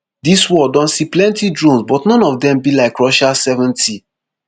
dis war don see plenti drones but none of dem be like russia sseventy